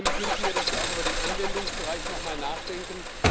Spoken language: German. Und ich wünsche mir, dass wir auch über den Anwendungsbereich nochmal nachdenken.